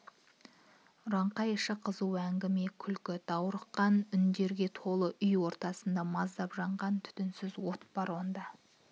үранқай іші қызу әңгіме күлкі даурыққан үндерге толы үй ортасында маздап жанған түтінсіз от бар онда